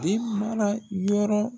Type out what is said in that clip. Den mara yɔrɔ